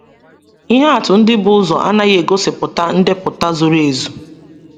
Ihe atụ ndị bu ụzọ anaghị egosipụta ndepụta zuru ezu.